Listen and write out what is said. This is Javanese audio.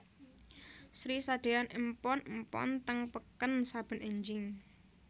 Sri sadeyan empon empon teng peken saben enjing